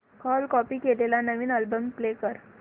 काल कॉपी केलेला नवीन अल्बम प्ले कर